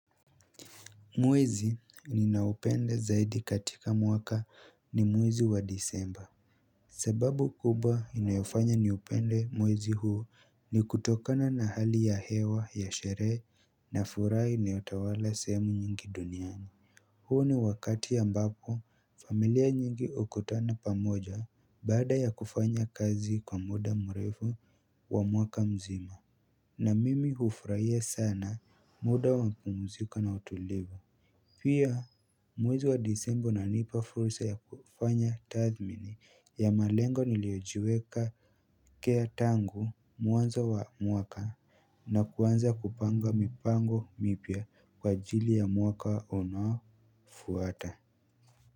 Mwezi ninaopenda zaidi katika mwaka ni mwezi wa desemba sababu kubwa inayofanya niupende mwezi huu ni kutokana na hali ya hewa ya sherehe na furahi inayotawala sehemu nyingi duniani huo ni wakati ambapo familia nyingi hukutana pamoja baada ya kufanya kazi kwa muda mrefu wa mwaka mzima na mimi hufurahia sana muda wa mpumzika na utulivu Pia mwezi wa desemba unanipa fursa ya kufanya tathmini ya malengo niliojiweka kea tangu mwanzo wa mwaka na kuanza kupanga mipango mipya kwa ajili ya mwaka unaofuata.